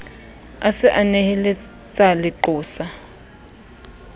a se a neheletsa leqosa